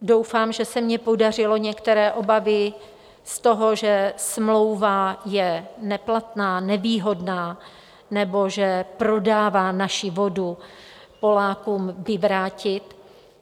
Doufám, že se mi podařilo některé obavy z toho, že smlouva je neplatná, nevýhodná nebo že prodává naši vodu Polákům, vyvrátit.